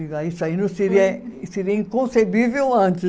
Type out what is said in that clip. Isso aí não seria, seria inconcebível antes.